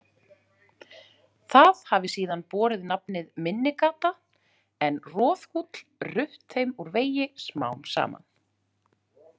Það hafi síðan borið nafnið Minni-Gata en Roðgúll rutt þeim úr vegi smám saman.